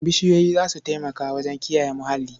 Bishiyoyi za su taimaka wajen kiyaye muhalli.